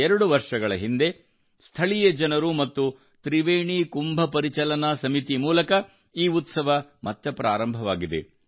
ಎರಡು ವರ್ಷಗಳ ಹಿಂದೆ ಸ್ಥಳೀಯ ಜನರು ಮತ್ತು ತ್ರಿವೇಣಿ ಕುಂಭ ಪರಿಚಲನಾ ಸಮಿತಿ ಮೂಲಕ ಈ ಉತ್ಸವವು ಮತ್ತೆ ಪ್ರಾರಂಭವಾಗಿದೆ